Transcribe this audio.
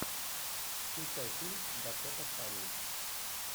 включай фильм дакота фаннинг